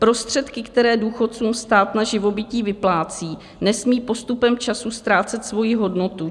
Prostředky, které důchodcům stát na živobytí vyplácí, nesmí postupem času ztrácet svoji hodnotu.